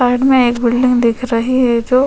side मे एक building दिख रही है जो--